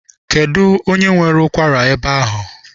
Kedụ onye nwere ụkwara ebe ahụ?